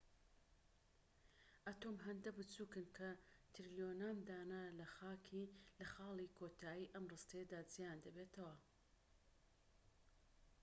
ئەتۆم هێندە بچوکن کە تریلیۆنان دانە لەخاڵی کۆتایی ئەم ڕستەیەدا جێیان دەبێتەوە